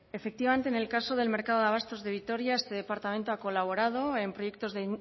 efectivamente en el caso del mercado de abastos de vitoria este departamento ha colaborado en proyectos de